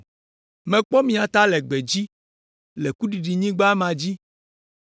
Mekpɔ mia ta le gbedzi, le kuɖiɖinyigba ma dzi.